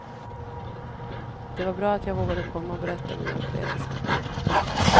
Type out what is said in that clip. Det var bra att jag vågade komma och berätta om mina upplevelser.